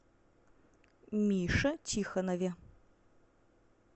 мише тихонове